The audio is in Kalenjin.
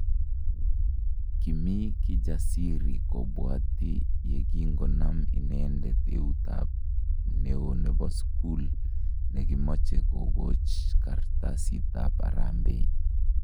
Kimi Kijasiri kobwati yekingonam inendet eutab neo nebo sukul ne kimoche kokoch kartasitab harambee